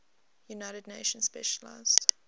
united nations specialized